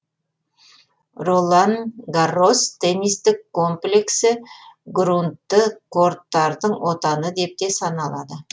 ролан гаррос теннистік комплексі груннты корттардың отаны деп те саналады